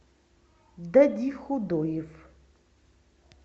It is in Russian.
додихудоев